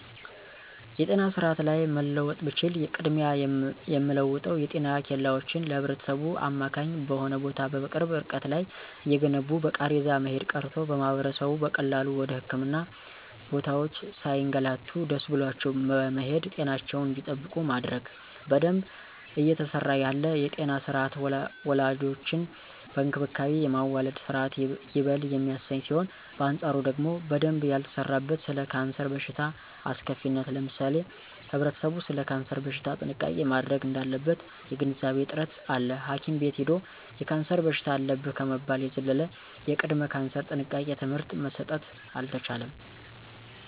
የጤና ስርአት ላይ መለወጥ ብችል ቅድሚያ የምለወጠው የጤና ኬላወችን ለህብረተሰቡ አማካኝ በሆነ ቦታ በቅርብ እርቀት ላይ እየገነቡ በቃሬዛ መሄድ ቀርቶ ማህበረሰቡ በቀላሉ ወደ ህክምና ቦታወች ሳይገላቱ ደሰ ብሏቸው በመሄድ ጤናቸውን እንዲጠብቁ ማድረግ። በደንብ እየተሰራ ያለ የጤና ስርአት ወላዶችን በእንክብካቤ የማዋለድ ስርአት ይበል የሚያሰኝ ሲሆን በአንጻሩ ደግሞ በደንብ ያልተሰራበት ስለ ካንሰር በሽታ አስከፊነት ለምሳሌ ህብረተሰቡ ሰለ ካንሰር በሽታ ጥንቃቄ ማድረግ እዳለበት የግንዛቤ እጥረት አለ ሀኪም ቤት ሂዶ የካንሰር በሽታ አለብህ ከመባል የዘለለ የቅድመ ካንሰር ጥንቃቄ ትምህርት መሰጠት አልተቻለም።